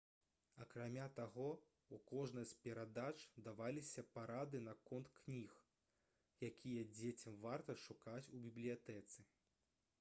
акрамя таго у кожнай з перадач даваліся парады наконт кніг якія дзецям варта шукаць у бібліятэцы